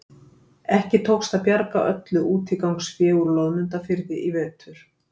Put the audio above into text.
Ekki tókst að bjarga öllu útigangsfé úr Loðmundarfirði í vetur.